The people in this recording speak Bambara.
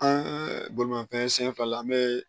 An bolimafɛn sen fila la an bee